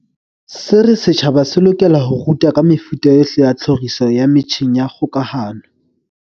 Se re setjhaba se lokela ho rutwa ka mefuta yohle ya tlhoriso ya metjheng ya kgokahano.